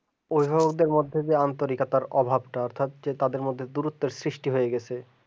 অভিভাবকের মাধ্যমে আন্তরিকতা অভাবটা তাদের মধ্যে দূরত্ব সৃষ্টি হয়ে গেছে